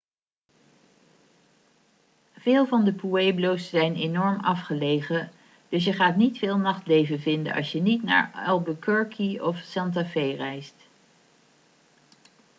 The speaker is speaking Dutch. veel van de pueblo's zijn enorm afgelegen dus je gaat niet veel nachtleven vinden als je niet naar albuquerque of santa fe reist